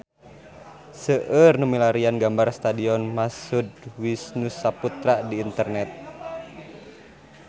Seueur nu milarian gambar Stadion Mashud Wisnusaputra di internet